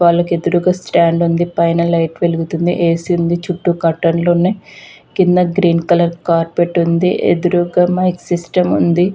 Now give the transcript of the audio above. వాలకి ఎదురుగ స్టాండ్ ఉంది . పైన లైట్స్ వెలుగుతున్నాయి ఏ సి ఉంది చుట్టూ కర్టైన్స్ ఉన్నాయి కింద గ్రీన్ కలర్ కార్పెట్ ఉంది ఎదురుగా ఏమో సిస్టం ఉంది .